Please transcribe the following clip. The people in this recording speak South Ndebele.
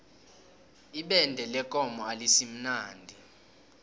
ibende lekomo alisimnandi